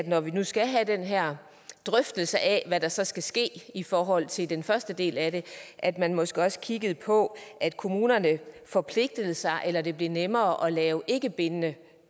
når vi nu skal have den her drøftelse af hvad der så skal ske i forhold til den første del af det at man måske også kiggede på at kommunerne forpligtede sig eller at det blev nemmere at lave ikkebindende